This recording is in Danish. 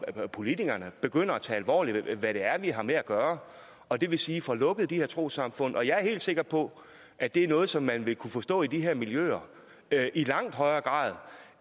fra politikernes begynder at tage alvorligt hvad det er vi har med at gøre og det vil sige får lukket de her trossamfund jeg er helt sikker på at det er noget som man vil kunne forstå i de her miljøer i langt højere grad